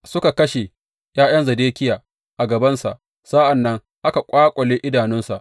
Suka kashe ’ya’yan Zedekiya a gabansa, sa’an nan aka ƙwaƙule idanunsa.